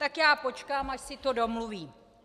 Tak já počkám, až si to domluví.